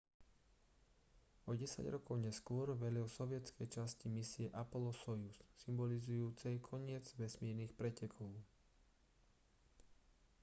o desať rokov neskôr velil sovietskej časti misie apollo-sojuz symbolizujúcej koniec vesmírnych pretekov